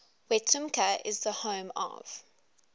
wetumpka is the home of